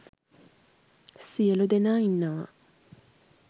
සියළු දෙනා ඉන්නවා.